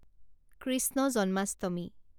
Krishna Janmashtami